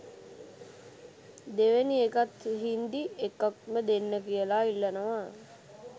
දෙවැනි එකත් හින්දි එකක්ම දෙන්න කියලා ඉල්ලනවා.